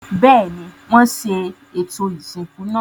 Bẹ́ẹ̀ni, wọ́n ṣe ètò ìsìnkú náà.